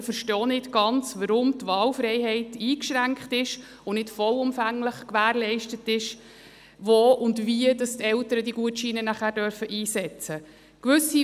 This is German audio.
Wir verstehen auch nicht ganz, weshalb die Wahlfreiheit eingeschränkt und nicht vollumfänglich gewährleistet ist, wo und wie die Eltern die Gutscheine nachher einsetzen dürfen.